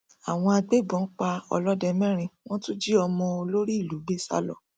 àwọn agbébọn pa ọlọdẹ mẹrin wọn tún jí ọmọ olórí ìlú gbé sá lọ